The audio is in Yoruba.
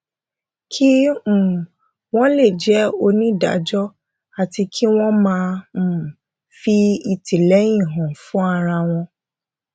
kí um wọn lè jẹ onídájọ àti kí wọn máa um fi ìtìlẹyìn hàn fún ara wọn